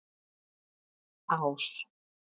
Ás